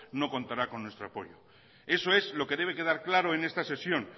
no contará con nuestro apoyo eso es lo que debe quedar claro en esta sesión